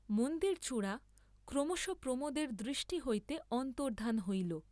মন্দিরচূড়া ক্রমশঃ প্রমোদের দৃষ্টি হইতে অন্তর্ধান হইল।